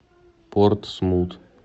портсмут